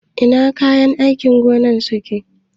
Ina kayan aikin gona suke?